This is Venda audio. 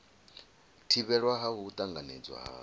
thivhelwa ha u tanganedzwa ha